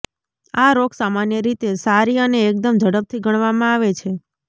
આ રોગ સામાન્ય રીતે સારી અને એકદમ ઝડપથી ગણવામાં આવે છે